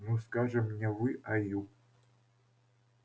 ну скажем не вы а ю